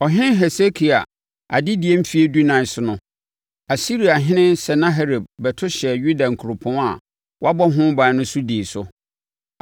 Ɔhene Hesekia adedie mfeɛ dunan so no, Asiriahene Sanaherib bɛto hyɛɛ Yuda nkuropɔn a wɔabɔ ho ban no so dii so.